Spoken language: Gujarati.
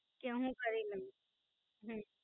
કે અમે કરી લઈએ.